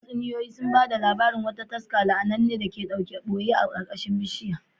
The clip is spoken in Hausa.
Tatsuniyoyi sun ba da labarin wata taska la’ananne da ke ɓoye a ƙarƙashin babban bishiyar